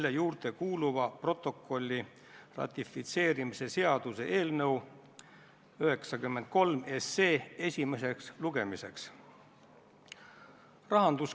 Leppisime kokku ja juhatus tegi otsuse, et juhatus ei katkesta eelnõu lugemist, aga paneme hääletusele Reformierakonna fraktsiooni ettepaneku teine lugemine katkestada.